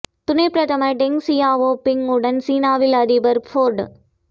துணை பிரதமர் Deng Xiaoping உடன் சீனாவில் ஜனாதிபதி ஃபோர்டு